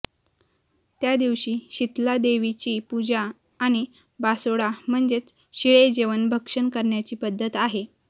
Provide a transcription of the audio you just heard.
त्या दिवशी शीतलादेवीची पूजा आणि बासोडा म्हणजेच शीळे जेवण भक्षण करण्याची पद्धत आहे